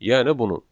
Yəni bunun.